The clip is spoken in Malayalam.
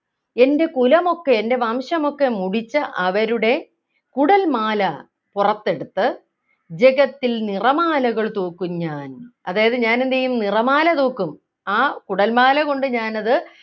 എൻ്റെ കുലമൊക്കെ എൻ്റെ വംശമൊക്കെ മുടിച്ച അവരുടെ കുടൽമാല പുറത്തെടുത്ത് ജഗത്തിൽ നിറമാലകൾ തൂക്കും ഞാൻ അതായത് ഞാൻ എന്ത് ചെയ്യും നിറമാല തൂക്കും ആ കുടൽമാല കൊണ്ട് ഞാനത്